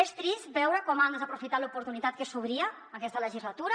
és trist veure com han desaprofitat l’oportunitat que s’obria aquesta legislatura